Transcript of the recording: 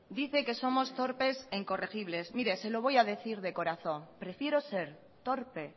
dice que somos torpes e incorregibles mire se lo voy a decir de corazón prefiero ser torpe e